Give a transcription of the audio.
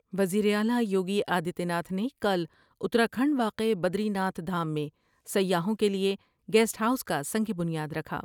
وزیراعلی یوگی آدتیہ ناتھ نے کل اتراکھنڈ واقع بدری ناتھ دھام میں سیاحوں کے لئے گیسٹ ہاؤس کا سنگ بنیادرکھا ۔